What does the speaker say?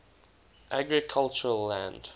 agricultural land